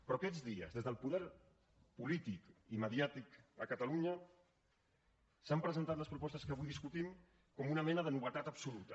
però aquests dies des del poder polític i mediàtic a catalunya s’han presentat les propostes que avui discutim com una mena de novetat absoluta